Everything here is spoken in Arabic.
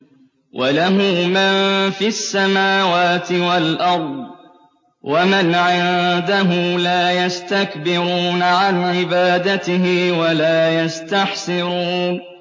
وَلَهُ مَن فِي السَّمَاوَاتِ وَالْأَرْضِ ۚ وَمَنْ عِندَهُ لَا يَسْتَكْبِرُونَ عَنْ عِبَادَتِهِ وَلَا يَسْتَحْسِرُونَ